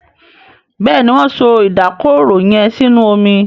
Béèni Wón so Ìdákọrò yén sínú omí.